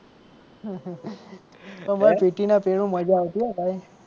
તો ભાઈ PT ના પીરિયડ માં મજા આવતી હો ભાઈ.